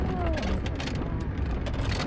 Ah, não faz mal.